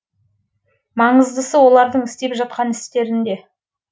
маңыздысы олардың істеп жатқан істерінде